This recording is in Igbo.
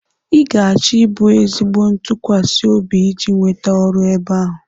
Ị ga-achọ ịbụ ezigbo ntụkwasị obi iji nweta ọrụ ebe ahụ.